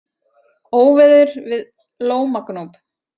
Óveður við Lómagnúp